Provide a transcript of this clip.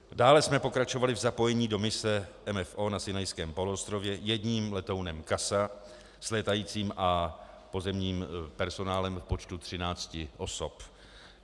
Dále jsme pokračovali v zapojení do mise MFO na Sinajském poloostrově jedním letounem CASA s létajícím a pozemním personálem v počtu 13 osob.